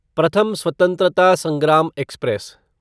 प्रथम स्वतंत्रता संग्राम एक्सप्रेस